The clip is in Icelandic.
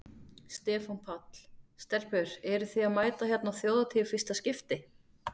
Stefán Páll: Stelpur eruð þið að mæta hérna á Þjóðhátíð í fyrsta skipti?